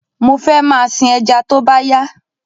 Mo fẹ máa sìn ẹja tóbá yá